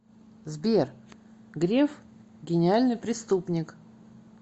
сбер греф гениальный преступник